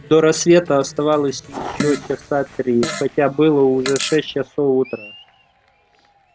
до рассвета оставалось ещё часа три хотя было уже шесть часов утра